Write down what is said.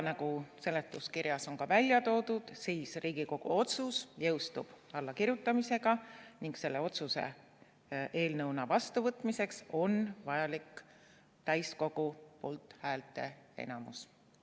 Nagu seletuskirjas on välja toodud, jõustub Riigikogu otsus allakirjutamise hetkel ning selle otsuse vastuvõtmiseks on vajalik täiskogu poolthäälte enamus.